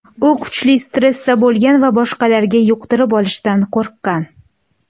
U kuchli stressda bo‘lgan va boshqalarga yuqtirib olishdan qo‘rqqan.